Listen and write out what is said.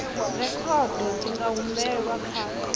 rekhodo dzi nga humbelwa kha